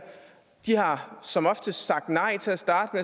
de har som oftest sagt nej til at starte